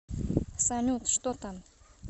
салют что там